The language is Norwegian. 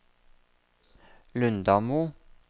Lundamo